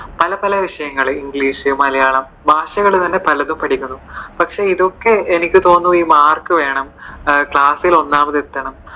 പല പല വിഷയങ്ങൾ english മലയാളം ഭാഷകൾ തന്നെ പലതരം പഠിക്കുന്നുണ്ട്. പക്ഷെ ഇതൊക്കെ എനിക്ക് തോനുന്നു ഈ മാർക്ക് വേണം, ക്ലാസ്സിൽ ഒന്നാമത് എത്തണം